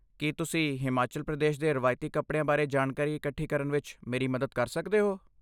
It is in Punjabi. ਕੀ ਤੁਸੀਂ ਹਿਮਾਚਲ ਪ੍ਰਦੇਸ਼ ਦੇ ਰਵਾਇਤੀ ਕੱਪੜਿਆਂ ਬਾਰੇ ਜਾਣਕਾਰੀ ਇਕੱਠੀ ਕਰਨ ਵਿੱਚ ਮੇਰੀ ਮਦਦ ਕਰ ਸਕਦੇ ਹੋ?